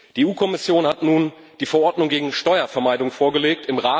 Die EU Kommission hat nun die Verordnung gegen Steuervermeidung vorgelegt.